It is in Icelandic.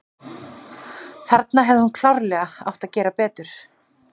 Þarna hefði hún klárlega átt að gera betur.